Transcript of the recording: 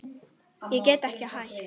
Ég get ekki hætt.